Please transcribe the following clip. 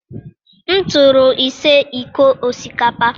m tụrụ ise iko osikapa.